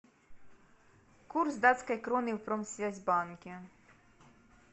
курс датской кроны в промсвязьбанке